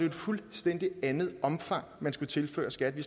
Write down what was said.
et fuldstændig andet omfang man skulle tilføre skat vi